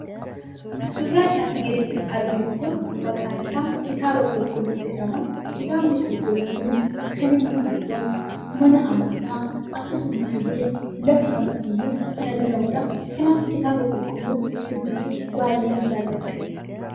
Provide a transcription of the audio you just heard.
Suuraan asii gaditti arginu kun maqaan isaa kitaaba qulqulluu jedhama. Kitaabni qulqulluu kunis kan argamu mana amantaa akkasumas bakka kamittiyyuu kan argamudha. Kanaaf kitaaba qulqulluu dubbisuu baay'een jaalladha.